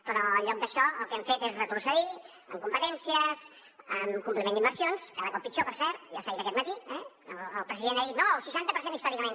però en lloc d’això el que han fet és retrocedir en competències en compliment d’inversions cada cop pitjor per cert ja s’ha dit aquest matí eh el president ha dit no el seixanta per cent històricament